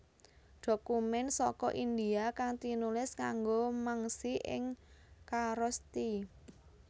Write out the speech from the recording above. Dokumén saka India kang tinulis nganggo mangsi ing Kharosthi